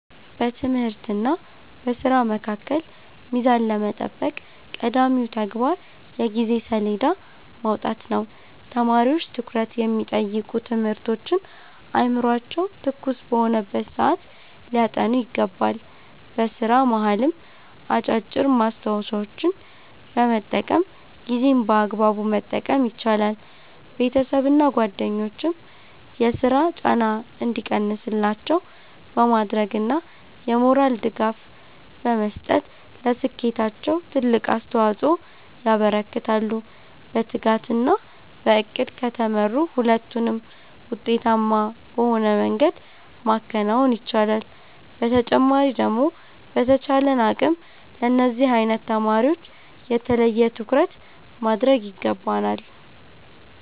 በትምህርትና በሥራ መካከል ሚዛን ለመጠበቅ ቀዳሚው ተግባር የጊዜ ሰሌዳ ማውጣት ነው። ተማሪዎች ትኩረት የሚጠይቁ ትምህርቶችን አእምሯቸው ትኩስ በሆነበት ሰዓት ሊያጠኑ ይገባል። በሥራ መሃልም አጫጭር ማስታወሻዎችን በመጠቀም ጊዜን በአግባቡ መጠቀም ይቻላል። ቤተሰብና ጓደኞችም የሥራ ጫና እንዲቀንስላቸው በማድረግና የሞራል ድጋፍ በመስጠት ለስኬታቸው ትልቅ አስተዋፅኦ ያበረክታሉ። በትጋትና በዕቅድ ከተመሩ ሁለቱንም ውጤታማ በሆነ መንገድ ማከናወን ይቻላል። በተጨማሪ ደግሞ በተቻለን አቅም ለነዚህ አይነት ተማሪወች የተለየ ትኩረት ማድረግ ይገባናል።